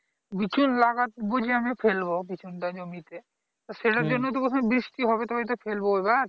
বীজ লাগাতে বুঝে ফেলবো বিচুনটা জমিতে তা সেটার জন্য তো প্রথমে বৃষ্টি হবে তবেই তো ফেলবো এবার